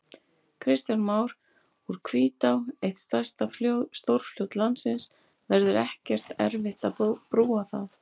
Kristján Már: Úr Hvítá, eitt stærsta stórfljót landsins, verður ekkert erfitt að brúa það?